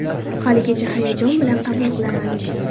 Haligacha hayajon bilan qabul qilaman.